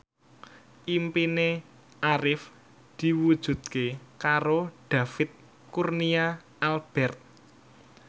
impine Arif diwujudke karo David Kurnia Albert